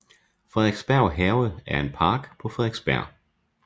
Frederiksberg Have er en park på Frederiksberg